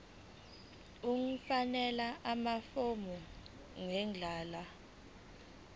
ukufakela amafomu ngendlela